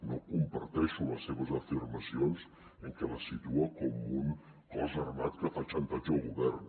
no comparteixo les seves afirmacions en què el situa com un cos armat que fa xantatge al govern